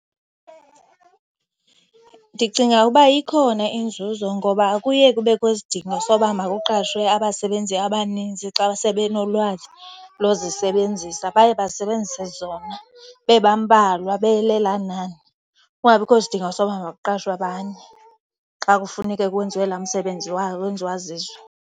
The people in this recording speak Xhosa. Ndicinga uba ikhona inzuzo ngoba akuye kubekho isidingo soba makuqashwe abasebenzi abaninzi xa sebenolwazi lozisebenzisa. Baye basebenzise zona bebambalwa, belelaa nani, kungabikho sidingo soba makuqashwe abanye xa kufuneke kwenziwe laa msebenzi wenziwa zizo.